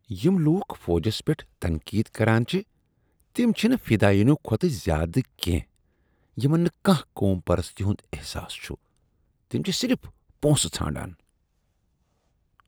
یم لوُکھ فوجس پیٹھ تنقید کران چھِ تم چھِنہٕ فِدایینو کھوتہٕ زیادٕ کیٚنہہ یمن نہٕ كانہہ قوم پرستی ہٗند احساس چھٗ ۔ تم چھ صرف پونسہٕ ژھانڈان۔